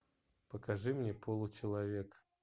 покажи мне получеловек